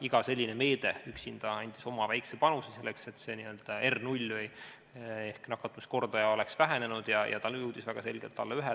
Iga selline meede üksinda andis oma väikese panuse selleks, et R0 ehk nakatumiskordaja oleks vähenenud ja ta jõudis väga selgelt alla ühe.